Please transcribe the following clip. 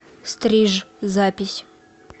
стриж запись